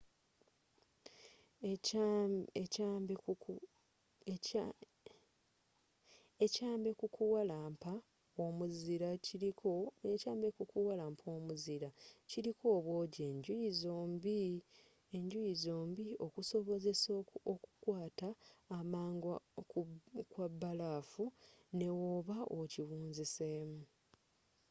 ekyambe ku kukuwalampa omuzira kiriko obwoogi enjuyi zombie okusobozesa okukwaata amangu kw'abalafu nebwooba okiwunziseemu